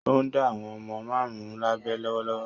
Ó ń dá àwọn ọmọ márùn-ún lábẹ lọ́wọ́lọ́wọ́.